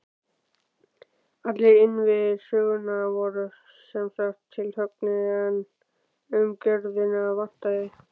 Allir innviðir sögunnar voru sem sagt tilhöggnir, en umgjörðina vantaði.